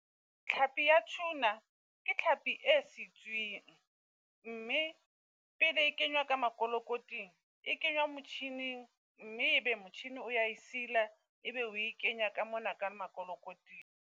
Tlhapii ya tuna ke tlhapi e sitswing, mme pele e kenywa ka makolokoting e kenywa motjhining. Mme e be motjhini o ya e sila e be oe kenya ka mona ka makolokoting.